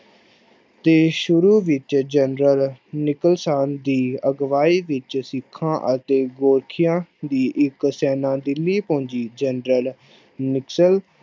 ਦੇ ਸ਼ੁਰੂ ਵਿੱਚ ਜਨਰਲ ਦੀ ਅਗਵਾਈ ਵਿੱਚ ਸਿੱਖਾਂ ਅਤੇ ਦੀ ਇੱਕ ਸੈਨਾ ਦਿੱਲੀ ਪਹੁੰਚੀ, ਜਨਰਲ